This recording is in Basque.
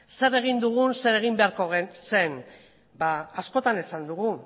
zer egin dugun edo zer egin beharko zen askotan esan dugu